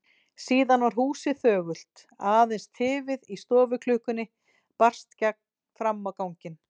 Síðan varð húsið þögult, aðeins tifið í stofuklukkunni barst fram á ganginn.